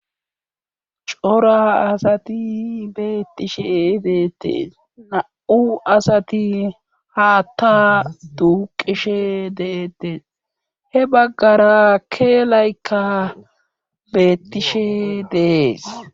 Cora asati beettishe ibeettees na7u asati haatta duuqishe deetee he baggara keelaykka beettishe dees